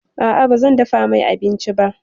A'a, bazan dafa mai abinci ba.